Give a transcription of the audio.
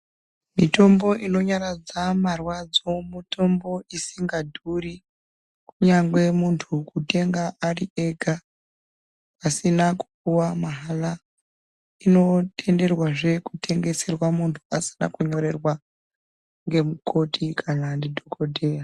Mitombo inonyaradza marwadzo mutombo isingadhuri kunyangwe muntu kutenga ari ega pasina kupuwa mahala. Inotenderwazve kutengeserwa muntu pasina kunyorerwa ngemukoti kana ndidhogodheya.